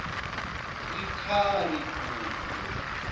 ikha ri gude